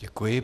Děkuji.